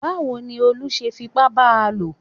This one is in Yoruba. Báwo ni Olú ṣe fipá ba lò?